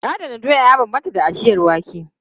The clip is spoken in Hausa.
Adana doya ya bambanta da ajiyar wake.